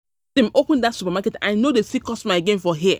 open dat supermarket I no dey see customer again for here